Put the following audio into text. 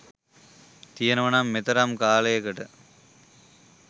තියෙනවානම් මේතරම් කාලයකට